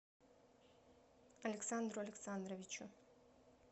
александру александровичу